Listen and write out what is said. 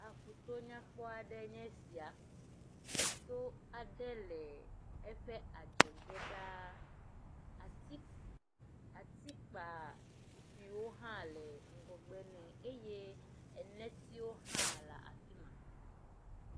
Aƒuto nyakpɔ aɖe nye sia. Eto ade le eƒe adzɔge ɖaa. Ati atikpazikpuiwo hã le ŋgɔgbe nɛ eye enetiwo hã la afi ma.